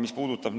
Mis puudutab